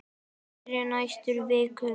Sindri: Næstu vikum?